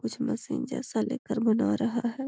कुछ मशीन जैसा लेकर बना रहा है।